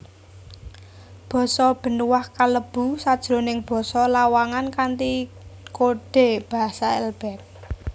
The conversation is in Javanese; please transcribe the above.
Basa Benuaq kalebu sajroning Basa Lawangan kanthi kodhe basa lbx